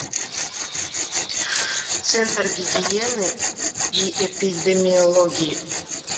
центр гигиены и эпидемиологии